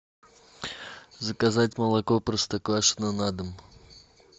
заказать молоко простоквашино на дом